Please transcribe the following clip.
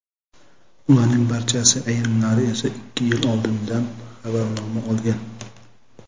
Ularning barchasi, ayrimlari esa ikki yil oldindan xabarnoma olgan.